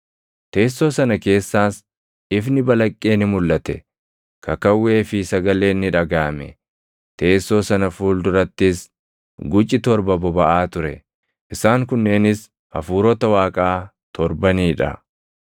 Teessoo sana keessaas ifni balaqqee ni mulʼate; kakawwee fi sagaleen ni dhagaʼame. Teessoo sana fuuldurattis guci torba bobaʼaa ture. Isaan kunneenis Hafuurota Waaqaa torbanii dha.